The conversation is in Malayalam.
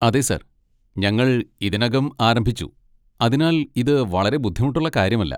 അതെ സർ, ഞങ്ങൾ ഇതിനകം ആരംഭിച്ചു, അതിനാൽ ഇത് വളരെ ബുദ്ധിമുട്ടുള്ള കാര്യമല്ല.